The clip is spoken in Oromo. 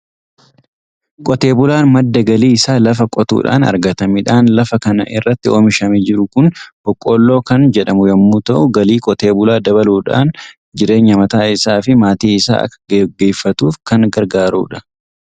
Qotee bulaan madda galii isaa lafa qotuudhaan argata. Midhaan lafa kana irratti oomishamee jiru kun boqqolloo kan jedhamu yommuu ta'u, galii qotee bulaa dabaluudhaan jireenya mataa isaa fi maatii isaa akka gaggeeffatuuf kan gargaarudha.